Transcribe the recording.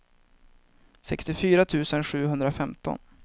sextiofyra tusen sjuhundrafemton